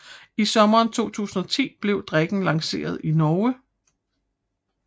I sommeren 2010 blev drikken lanceret i Norge